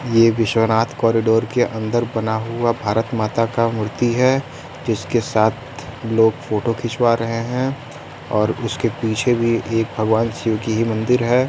ये विश्वनाथ कोरिडोर के अंदर बना हुआ भारत माता का मूर्ति है जिसके साथ लोग फोटो खिंचवा रहे हैं और उसके पीछे भी एक भगवान शिव की ही मंदिर है।